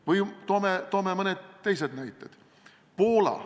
Või ma toon mõned teised näited.